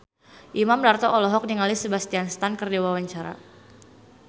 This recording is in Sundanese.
Imam Darto olohok ningali Sebastian Stan keur diwawancara